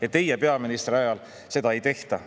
Aga teie peaministriajal seda ei tehta.